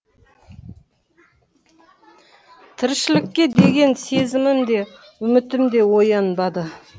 тіршілікке деген сезімім де үмітім де оянбады